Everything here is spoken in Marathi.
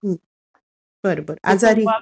हं. बर. बर. आजरी...